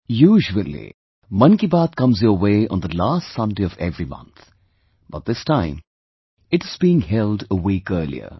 Usually 'Mann Ki Baat' comes your way on the last Sunday of every month, but this time it is being held a week earlier